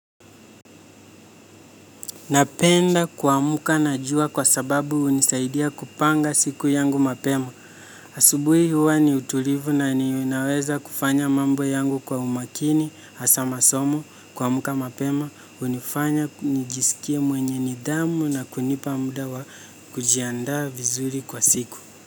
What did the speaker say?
Napenda kuamka na jua kwa sababu hunisaidia kupanga siku yangu mapema. Asubuhi huwa ni utulivu na ninaweza kufanya mambo yangu kwa umakini, hasa masomo, kuamka mapema, hunifanya nijisikie mwenye nidhamu na kunipa muda wa kujiandaa vizuri kwa siku.